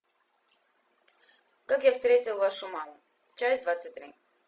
как я встретил вашу маму часть двадцать три